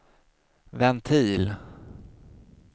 ventil